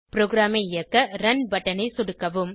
ப்ரோகிராமை இயக்க ரன் பட்டனை சொடுக்கவும்